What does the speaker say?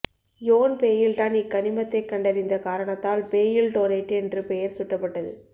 யோன் Baildon இக்கனிமத்தை கண்டறிந்த காரணத்தால் பேயில்டோனைட்டு என்று பெயர் சூட்டப்பட்டது